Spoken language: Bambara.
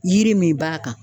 Yiri min b'a kan